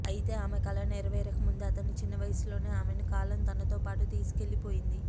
అయితే ఆమె కల నెరవేరక ముందే అతని చిన్నవయసులోనే ఆమెను కాలం తనతోపాటు తీసుకెళ్లిపోయింది